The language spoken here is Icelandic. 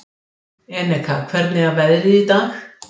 Eneka, hvernig er veðrið í dag?